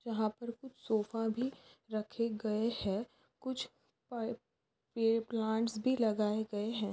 यहाँ पर कुछ सोफ़ाभी रखे गए है कुछ प-पे प्लांट्स भी लगाए गए है।